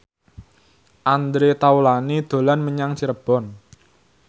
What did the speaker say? Andre Taulany dolan menyang Cirebon